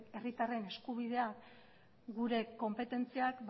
herritarren eskubidea gure konpetentziak